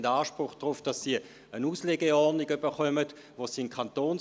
Danke für diese angeregte Diskussion.